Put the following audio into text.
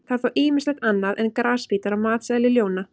Það er þó ýmislegt annað en grasbítar á matseðli ljóna.